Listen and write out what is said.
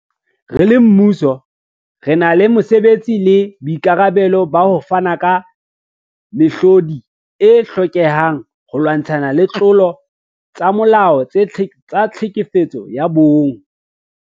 Re le mmuso, re na le mosebetsi le boikarabelo ba ho fana ka mehlodi e hlokehang holwantshwa ditlolo tsa molao tsa tlhekefetso ya bong.